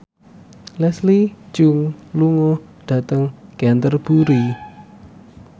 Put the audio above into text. Leslie Cheung lunga dhateng Canterbury